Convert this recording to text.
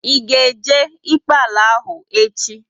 Ị ga e jee ikpe ala ahu echi?